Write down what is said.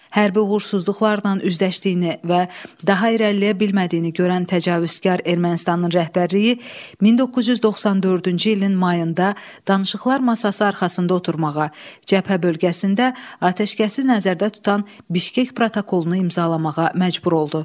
Hərbi uğursuzluqlarla üzləşdiyini və daha irəliləyə bilmədiyini görən təcavüzkar Ermənistanın rəhbərliyi 1994-cü ilin mayında danışıqlar masası arxasında oturmağa, cəbhə bölgəsində atəşkəsi nəzərdə tutan Bişkek protokolunu imzalamağa məcbur oldu.